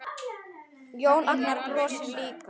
Jón Agnar brosir líka.